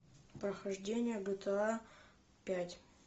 прохождение гта пять